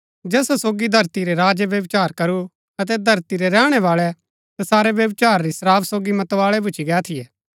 जैसा सोगी धरती रै राजै व्यभिचार करू अतै धरती रै रैहणै बाळै तसारै व्यभिचार री शराब सोगी मतवाळै भूच्ची गै थियै